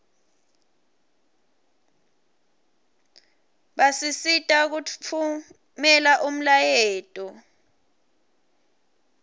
basisita kutfumela umlayeto